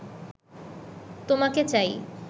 তোমাকে চাই